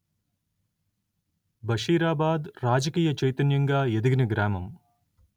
బషీరాబాద్ రాజకీయ చైతన్యంగా ఎదిగిన గ్రామం